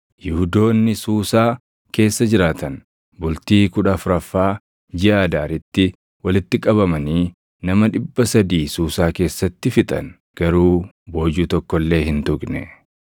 Yihuudoonni Suusaa keessa jiraatan bultii kudha afuraffaa jiʼa Adaaritti walitti qabamanii nama dhibba sadii Suusaa keessatti fixan; garuu boojuu tokko illee hin tuqne.